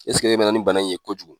Eseke e na na ni bana in ye kojugu.